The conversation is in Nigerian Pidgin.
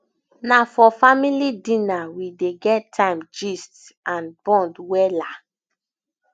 na for family dinner we dey get time gist and bond wella